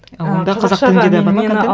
а онда қазақ тілінде де бар ма контент